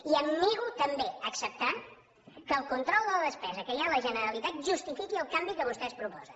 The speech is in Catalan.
i em nego també a acceptar que el control de la despesa que hi ha a la generalitat justifiqui el canvi que vostès proposen